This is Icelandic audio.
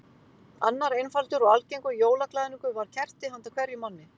Annar einfaldur og algengur jólaglaðningur var kerti handa hverjum manni.